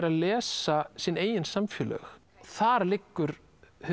að lesa sín eigin samfélög þar liggur